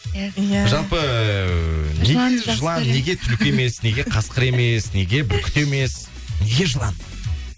иә иә жалпы неге жылан неге түлкі емес неге қасқыр емес неге бүркіт емес неге жылан